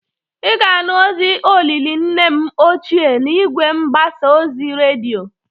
Ị ga-anụ ozi olili nne m ochie n'igwe mgbasa oz redioi.